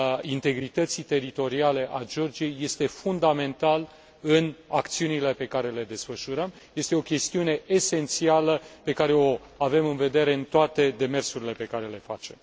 integrității teritoriale a Georgiei este fundamental în acțiunile pe care le desfășurăm, este o chestiune esențială pe care o avem în vedere în toate demersurile pe care le facem.